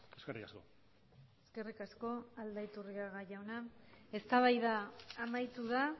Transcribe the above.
eskerrik asko eskerrik asko aldaiturriaga jauna eztabaida amaitu da